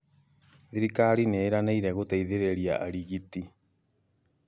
thirikari nĩ ĩranĩĩre guteithĩrĩrĩa arĩgitĩ.